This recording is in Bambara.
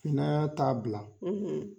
Finnan t'a bila.